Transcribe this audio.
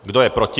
Kdo je proti?